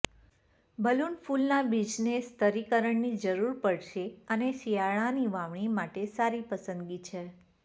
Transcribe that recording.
balloon ફૂલના બીજને સ્તરીકરણની જરૂર પડશે અને શિયાળાની વાવણી માટે સારી પસંદગી છે